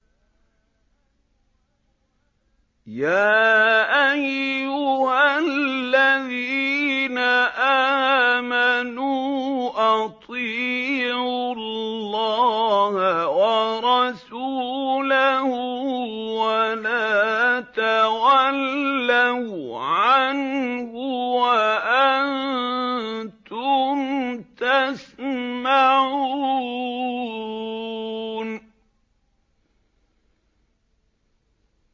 يَا أَيُّهَا الَّذِينَ آمَنُوا أَطِيعُوا اللَّهَ وَرَسُولَهُ وَلَا تَوَلَّوْا عَنْهُ وَأَنتُمْ تَسْمَعُونَ